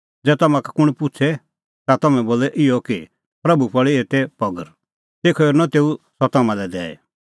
ज़ै तम्हां का कुंण पुछ़े ता तम्हैं बोलै इहअ कि प्रभू पल़ी एते पगर तेखअ हेरनअ तेऊ सह तम्हां लै दैई